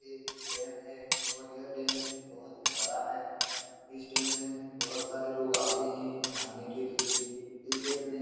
यह एक डैम है। और यह डैम बहुत ही बड़ा है इस डैम में बहुत से लोग आते हैं नहाने के लिए इस डैम में --